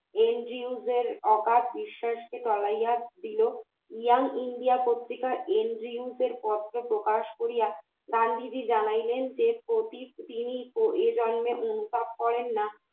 অকাট বিশ্বাসকে টলাইয়া দিল young India পত্রিকা এনজিওদের পত্র প্রকাশ করিয়া গান্ধীজি জানালেন যে প্রতি এজন্যে অনুতাপ করেন না